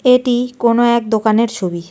এটি কোনো এক দোকানের ছবি।